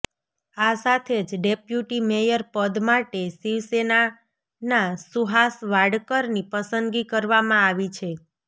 આ સાથે જ ડેપ્યુટી મેયર પદ માટે શિવસેનાના સુહાસ વાડકરની પસંદગી કરવામાં આવી છે